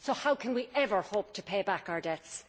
So how can we ever hope to pay back our debts?